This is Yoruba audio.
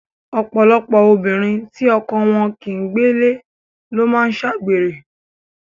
Ọ̀pọ̀lọpọ̀ obìnrin tí ọkọ wọn kì ń gbélé ló máa ń ṣe àgbèrè.